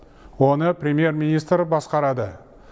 оны премьер министр басқарады